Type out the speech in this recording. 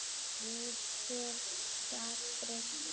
Nú sé það breytt.